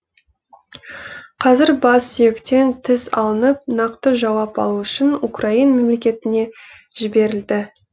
қазір бас сүйектен тіс алынып нақты жауап алу үшін украин мемлекетіне жіберілді